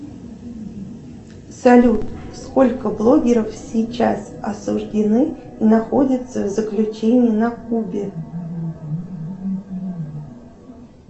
салют сколько блогеров сейчас осуждены и находятся в заключении на кубе